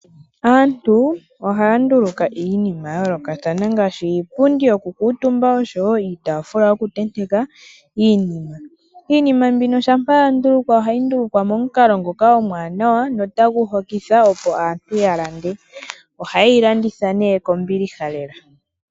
Aantu ohaya nduluka iinima ya yolokathana ngashi iipundi yoku kutumba oshowo iitafula yoku tenteka iinima. Iinima mbino shampa yandulukwapo ohayi ndulukwa momukalo ngoka omwanawa notagu hokitha opo aantu yalande, ohaye yi landitha ne kombiliha lela.